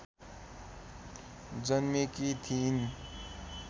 जन्मेकी थिइन्